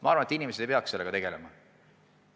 Ma arvan, et inimesed ei peaks sellega tegelema.